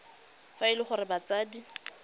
fa e le gore batsadi